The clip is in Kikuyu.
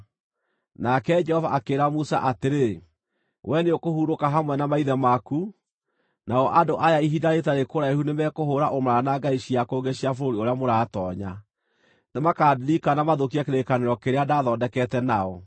Nake Jehova akĩĩra Musa atĩrĩ, “Wee nĩũkũhurũka hamwe na maithe maku, nao andũ aya ihinda rĩtarĩ kũraihu nĩmekũhũũra ũmaraya na ngai cia kũngĩ cia bũrũri ũrĩa mũratoonya. Nĩmakandirika na mathũkie kĩrĩkanĩro kĩrĩa ndaathondekete nao.